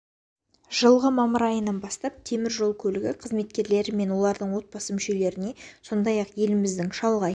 жылғы мамыр айынан бастап темір жол көлігі қызметкерлері мен олардың отбасы мүшелеріне сондай ақ еліміздің шалғай